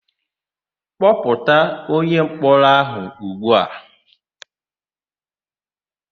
Kpọpụta onyemkpọrọ áhụ̀ ugbu a!